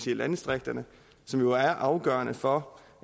i landdistrikterne som jo er afgørende for